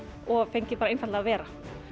og fengið bara einfaldlega að vera